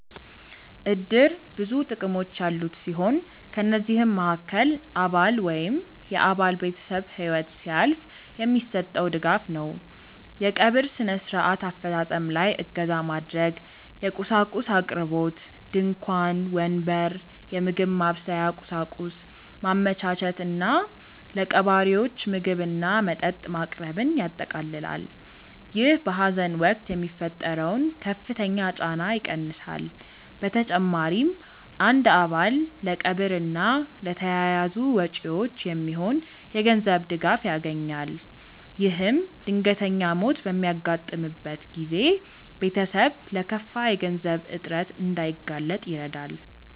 እድር ብዙ ጥቅሞች ያሉት ሲሆን ከነዚህም መሃከል አባል ወይም የአባል ቤተሰብ ህይወት ሲያልፍ የሚሰጠው ድጋፍ ነው። የቀብር ስነ-ስርዓት አፈፃፀም ላይ እገዛ ማድረግ፣ የቁሳቁስ አቅርቦት (ድንኳን፣ ወንበር፣ የምግብ ማብሰያ ቁሳቁስ) ማመቻቸት እና ለቀባሪዎች ምግብና መጠጥ ማቅረብን ያጠቃልላል። ይህ በሀዘን ወቅት የሚፈጠረውን ከፍተኛ ጫና ይቀንሳል። በተጨማሪም አንድ አባል ለቀብር እና ለተያያዙ ወጪዎች የሚሆን የገንዘብ ድጋፍ ያገኛል። ይህም ድንገተኛ ሞት በሚያጋጥምበት ጊዜ ቤተሰብ ለከፋ የገንዘብ እጥረት እንዳይጋለጥ ይረዳል።